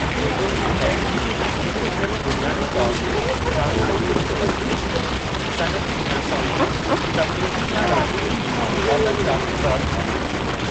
जेतोणीकि कैनोइंग हिकु भेरो बुनियादी तौर ते ट्रांसपोर्ट जो हिकु वसीलो हुई, सनइती थियणु सां उहा तफ़रीही या रांदियुनि में वाटर क्राफ़्ट तौर मशहूरु थी वेई।